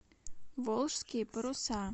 волжские паруса